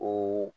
O